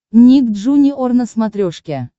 ник джуниор на смотрешке